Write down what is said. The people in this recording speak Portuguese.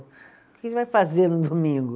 O que que vai fazer no domingo?